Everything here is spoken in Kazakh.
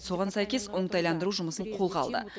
соған сәйкес оңтайландыру жұмысын қолға алды